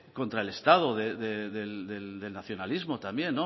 contra el estado del nacionalismo también